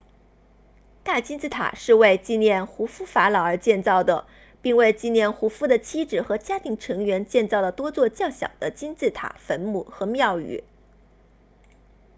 大金字塔是为纪念胡夫法老而建造的并为纪念胡夫的妻子和家庭成员建造了多座较小的金字塔坟墓和庙宇